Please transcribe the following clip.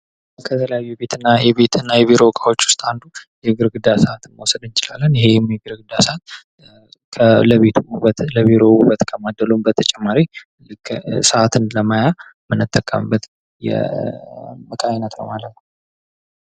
ከተለያዩ የቤት እና የቢሮ ዕቃዎች ውስጥ አንዱ ግድግዳ ሰዓትን መውሰድ እንችላለን ።ይሄ ሰዓት ለቤት ውበት ውበት ከማደሉም በተጨማሪ ሰዓት ለማያ የምንጠቀምበት የእቃ አይነት ነው ማለት ነው።